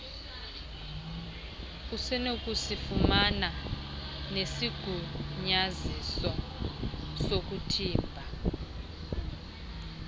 usenokusifumana nesigunyaziso sokuthimba